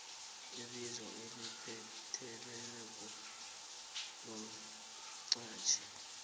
ibizo elipheleleko lomqhatjhi